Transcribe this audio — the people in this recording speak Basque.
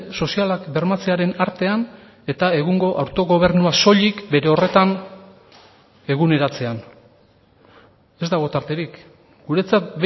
sozialak bermatzearen artean eta egungo autogobernua soilik bere horretan eguneratzean ez dago tarterik guretzat